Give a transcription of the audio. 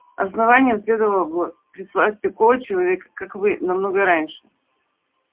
основанию следовало бы прислать такого человека как вы намного раньше